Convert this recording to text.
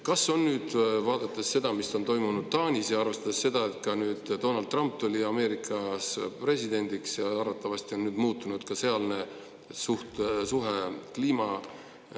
Kas nüüd, vaadates seda, mis on toimunud Taanis, ja arvestades seda, et Donald Trump Ameerikas presidendiks ja arvatavasti nüüd muutub sealne suhtumine kliimahüsteeriasse …